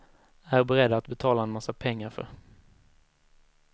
Är beredda att betala en massa pengar för.